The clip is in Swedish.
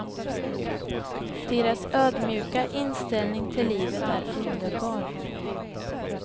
Deras ödmjuka inställning till livet är underbar.